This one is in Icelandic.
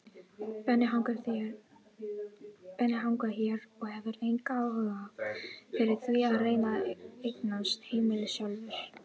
Benni hangir hér og hefur engan áhuga fyrir því að reyna að eignast heimili sjálfur.